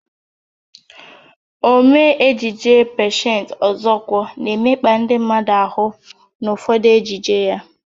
Omee ejije Patience Ọzọkwọ na-emekpa ndị mmadụ ahụ n'ụfọdụ ejije ya.